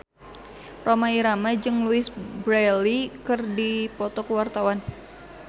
Rhoma Irama jeung Louise Brealey keur dipoto ku wartawan